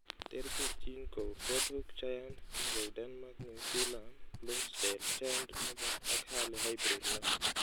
Terterchin kou Ford Hook Giant, King of Denmark, New Zealand, Bloomsdale, Giant Noble ak Early Hybrid No.